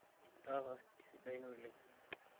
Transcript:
itaasa isidain oleng'